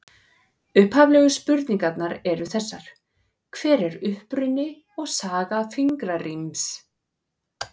Upphaflegu spurningarnar eru þessar: Hver er uppruni og saga fingraríms?